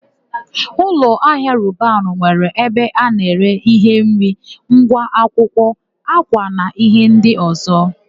Ụlọahịa Robanu nwere ebe a na-ere íhé nri, ngwa akwụkwọ, ákwà na íhé ndị ọ̀zọ́.